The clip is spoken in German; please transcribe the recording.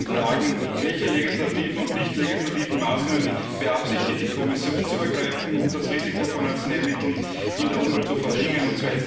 Die beiden Fragen Welche legislativen und nicht legislativen Maßnahmen beabsichtigt die Kommission zu ergreifen, um das Risiko von Arzneimitteln in der Umwelt zu verringern?